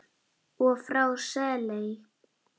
og frá Seley.